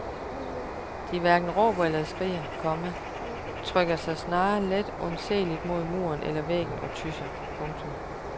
De hverken råber eller skriger, komma trykker sig snarere let undseeligt mod muren eller væggen og tysser. punktum